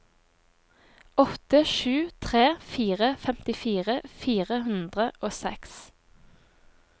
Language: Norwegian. åtte sju tre fire femtifire fire hundre og seks